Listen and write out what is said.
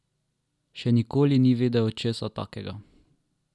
Še nikoli ni videl česa takega!